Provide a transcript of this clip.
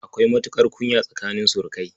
Akwai matuƙar kunya tsakanin surukai.